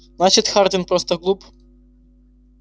значит хардин просто глуп